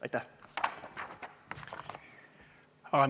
Aitäh!